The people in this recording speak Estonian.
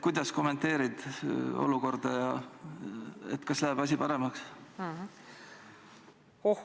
Kuidas sa kommenteerid olukorda ja kas asi läheb paremaks?